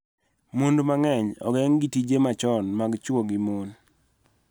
Mond mang�eny ogeng� gi tije machon mag chwo gi mon